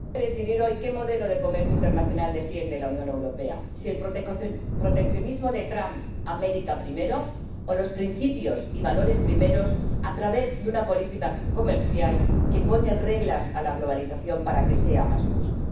Señora presidenta, vamos a decidir hoy qué modelo de comercio internacional defiende la Unión Europea, si el proteccionismo de Trump, América primero, o los principios y valores primeros a través de una política comercial que pone reglas a la globalización para que sea más justa.